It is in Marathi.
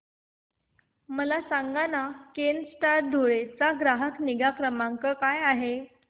मला सांगाना केनस्टार धुळे चा ग्राहक निगा क्रमांक काय आहे